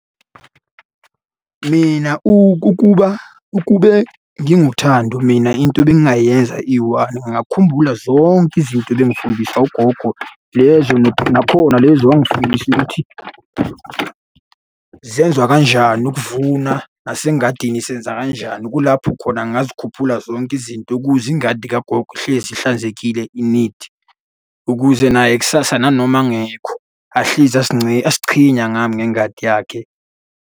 Mina ukuba ukube nginguThandi mina into ebengingayenza iyi-one, ngingakhumbula zonke izinto ebengifundiswa ugogo. Lezo nakhona lezo owangifundisa ukuthi zenziwa kanjani ukuvuna, nasengadini senza kanjani. Kulapho khona ngingazikhuphula zonke izinto ukuze ingadi kagogo ihlezi ihlanzekile i-neat, ukuze naye kusasa nanoma engekho ahlezi azichenya ngami ngengadi yakhe.